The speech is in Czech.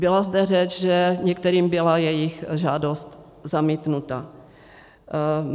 Byla zde řeč, že některým byla jejich žádost zamítnuta.